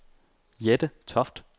Jette Toft